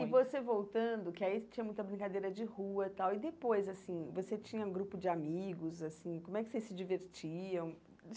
E você voltando, que aí você tinha muita brincadeira de rua e tal, e depois, assim, você tinha um grupo de amigos, assim, como é que vocês se divertiam?